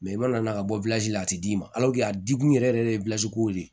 i mana na ka bɔ la a tɛ d'i ma a di kun yɛrɛ yɛrɛ de ye kow de ye